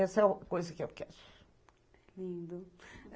Essa é a coisa que eu quero.